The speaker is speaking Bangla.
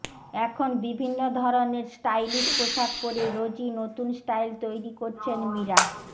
এখন বিভিন্ন ধরনের স্টাইলিশ পোশাক পরে রোজই নতুন স্টাইল তৈরি করছেন মীরা